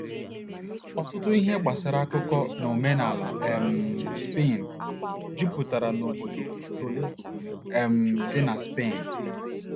Ọtụtụ ihe gbasara akụkọ na omenala um Spen jupụtara n’obodo Toledo um dị na Spen.